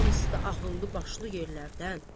Hamısı da ağıllı-başlı yerlərdən.